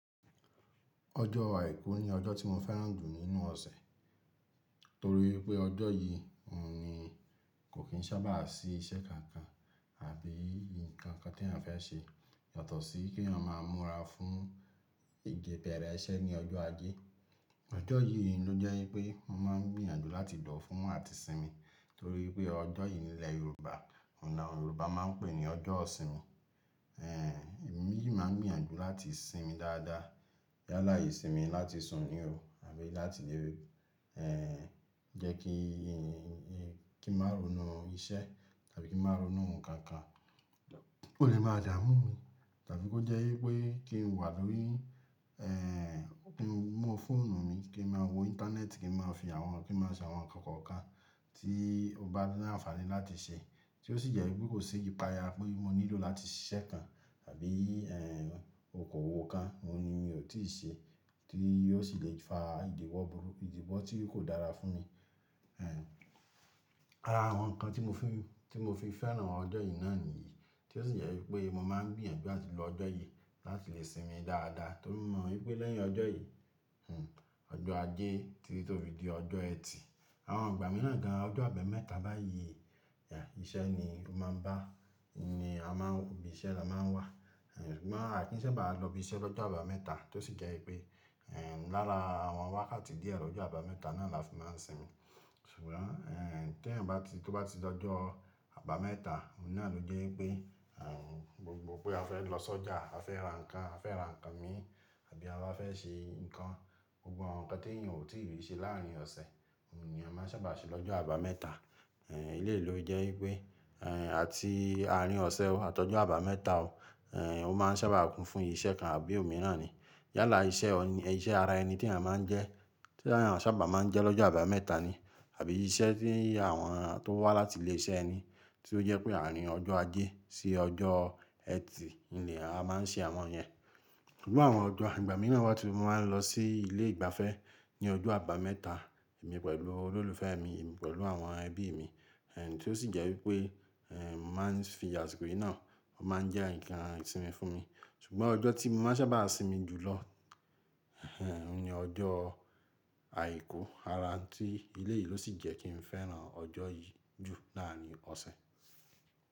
Ọjọ́ Àìkú ni ọjọ́ tí mo fẹ́ràn jù nínú ọ̀sẹ̀. Torí pé ọjọ́ yìí ni kò kí n sábà sí iṣẹ́ kankan àbí ǹkan kan tí eyan fẹ́ ṣe. Yàtọ̀ sí kí eyan máa múra fún ìjẹ- bẹ̀rẹ̀e ẹṣẹ̀ ní ọjọ́ ajé. Ọjọ́ yìí ló wipẹ́ pé mo máa ń gbìyànjú láti do fún àti sinmi. Torí wipé ọjọ́ yìí nílẹ̀ Yorùbá, ọ̀un la awon Yorùbá máa ń pè ní ọjọ́ ìsinmi. Ẹ̀, èmi yìí máa ń gbìyànjú láti sinmi dáadáa. Yálà ìsinmi láti sùn ní ò àbí láti lé ẹ̀, jẹ́ kí, kí n má ronú iṣẹ́ tàbí kí n má ronú ǹkan kan kò lè máa dààmú mi. Tàbí kó jẹ́ wípé kí n wà lórí, ẹ̀, kí n mú fóònù mi kí n má wo internet kí n má fi àwọn, kí n má ṣe àwọn ǹkan kọ̀ọ̀kan tí ó bá ní àǹfààní láti ṣe. Tí ó sì jẹ́ wípé kò ṣe ìpàya pé mo nílò láti ṣiṣẹ́ kan àbí, ẹ̀, okòwò kan mo ni ò tíì ṣe tí yóò sì lè fa ìdìwò burúku, ìdìwò tí kò dára fún mi. Ẹ̀, ara àwọn ǹkan tí mo fi, tí mo fi fẹ́ràn ọjọ́ yìí náà nìyí. Tí ó sì jẹ́ wípé mo máa ń gbìyànjú láti lo ọjọ́ yìí láti lè sinmi dáadáa. Torí mo mọ̀ wípé lẹ́yìn ọjọ́ yìí, ọjọ́ ajé títí tó fi di ọjọ́ ẹtì, àwọn ìgbà mìíràn gan-an ọjọ́ àbámẹ́ta báyìí, iṣẹ́ ni ó máa ń bá, ni a máa ń, ibi iṣẹ́ ni a máa ń wà. Ṣùgbọ́n àkí sa bá lọ ibi iṣẹ́ lọ́jọ́ àbámẹ́ta tí ó sì jẹ́ wípé, ẹ̀, lára àwọn wákàtí díẹ̀ lọjọ́ àbámẹ́ta náà la fi máa ń sinmi. Ṣùgbọ́n, ẹ̀, tí yan bá ti, tí ó bá ti dojọ́ àbámẹ́ta, òun náà ló jẹ́ ipé, ẹ̀, gbogbo pé a fẹ́ lọ sọ́jà, a fẹ́ ra ǹkan, a fẹ́ ra ǹkan mí àbí a bá fẹ́ ṣe nǹkan, gbogbo àwọn ǹkan tí èèyàn ò tí ì rí ṣe láàárín ọ̀sẹ̀, òun ni a máa sábà ṣe lọ́jọ́ àbámẹ́ta. Ẹ̀, léè ló jẹ́ wípé, ẹ̀, àti àárín ọ̀sẹ̀ ó àtọ́jọ́ àbámẹ́ta ò, ẹ̀, ó máa ń sábà kún fún iṣẹ́ kan àbí òmíràn ni. Yálà iṣẹ́ ọ̀n-- iṣẹ́ ara ẹni tí eyan máa ń jẹ, tí eyan sábà máa ń jẹ lọ́jọ́ àbámẹ́ta ni. Àbí iṣẹ́ tí àwọn tó wá láti ilé iṣẹ́ eni tí ó jẹ́ pé àárín ọjọ́ ajé sí ọjọ́ ẹtì ni a máa ń ṣe àwọn yẹn. Iru àwọn ọjọ́ igbà mìíràn wá tí mo máa ń lọ sí ilé ìgbafẹ́ ní ọjọ́ àbámẹ́ta emi pẹ̀lú olólùfẹ́ mi, emi pẹ̀lú àwọn ẹbí mi. Ẹ̀, tí ó sì jẹ́ wípé, ẹ̀, màá ń fi àsìkò yìí náà máa ń jẹ́ ǹkan ìsinmi fún mi. Ṣùgbọ́n ọjọ́ tí mo máa ń sábà sinmi jù lọ, òun ni ọjọ́ Àìkú. Ara nti eleyìí ló sì jẹ́ kí n fẹ́ràn ọjọ́ yìí jù láàárín ọ̀sẹ̀.